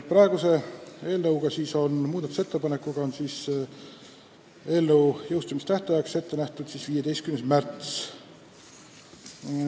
Praeguse muudatusettepaneku kohaselt on jõustumistähtaeg 15. märts.